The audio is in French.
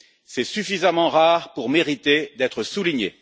C'est suffisamment rare pour mériter d'être souligné.